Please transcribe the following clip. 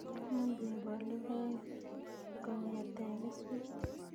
Much kekol logoek kong'ete keswek